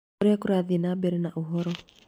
ũrĩa kũrathiĩ na mbere na ũhoro